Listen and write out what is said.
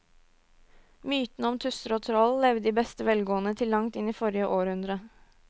Mytene om tusser og troll levde i beste velgående til langt inn i forrige århundre.